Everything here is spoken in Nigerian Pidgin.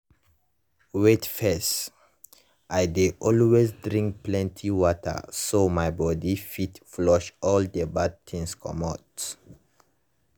wait first - i dey always drink plenty water so my body fit flush all the bad things comot.